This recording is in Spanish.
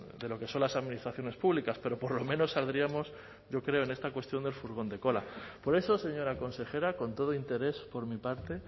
de lo que son las administraciones públicas pero por lo menos saldríamos yo creo en esta cuestión del furgón de cola por eso señora consejera con todo interés por mi parte